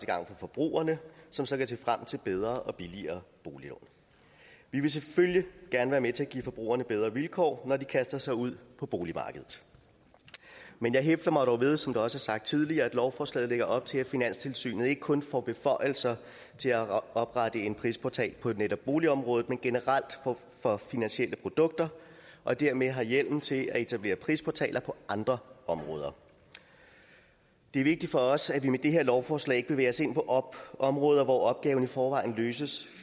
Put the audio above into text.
gavn for forbrugerne som så kan se frem til bedre og billigere boliglån vi vil selvfølgelig gerne være med til at give forbrugerne bedre vilkår når de kaster sig ud på boligmarkedet men jeg hæfter mig dog ved som det også er sagt tidligere at lovforslaget lægger op til at finanstilsynet ikke kun får beføjelser til at oprette en prisportal på netop boligområdet men generelt for finansielle produkter og dermed har hjemmel til at etablere prisportaler på andre områder det er vigtigt for os at vi med det her lovforslag ikke bevæger os ind på områder hvor opgaven i forvejen løses